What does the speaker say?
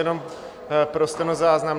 Jenom pro stenozáznam.